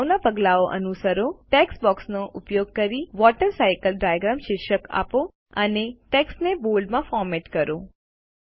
અગાઉના પગલાંઓ અનુસરો ટેક્સ્ટ બોક્સ નો ઉપયોગ કરી વોટરસાયકલ ડાયાગ્રામ શીર્ષક આપો અને ટેક્સ્ટ ને બોલ્ડ માં ફોરમેટ કરો